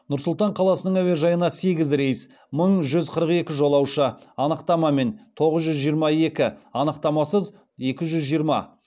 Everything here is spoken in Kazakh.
нұр сұлтан қаласының әуежайына сегіз рейс мың жүз қырық екі жолаушы анықтамамен тоғыз жүз жиырма екі анықтамасыз екі жүз жиырма